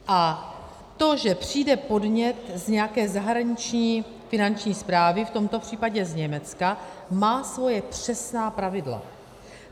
A to, že přijde podnět z nějaké zahraniční finanční správy, v tomto případě z Německa, má svoje přesná pravidla.